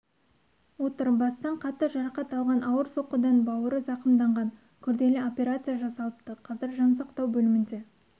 отыр бастан қатты жарақат алған ауыр соққыдан бауыры зақымданған күрделі операция жасалыпты қазір жансақтау бөлімінде